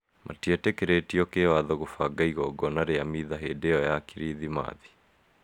Matietĩkĩrĩtio kĩwatho gũbanga igongona rĩa mitha hĩndĩ ĩyo ya kiricimaci